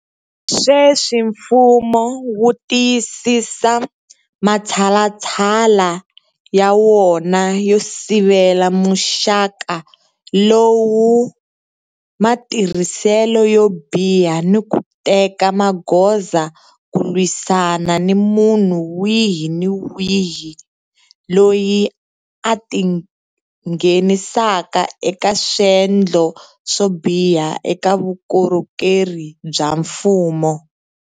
Sweswi mfumo wu tiyisisa matshalatshala ya wona yo sivela muxaka lowu matirhiselo yo biha ni ku teka magoza ku lwisana ni munhu wihi ni wihi loyi a tinghenisaka eka swendlo swo biha eka vukorhokeri bya mfumo.